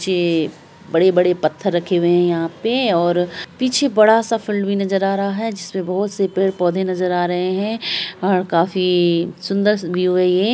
पीछे बड़े-बड़े पत्थर रखे हुई है और पीछे बड़ा-सा फील्ड भी नजर आ रहा है| बहुत से पेड़-पौधे नजर आ रहे हैं| काफी सुन्दर व्यू है ये।